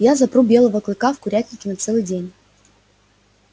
я запру белого клыка на курятнике на целый день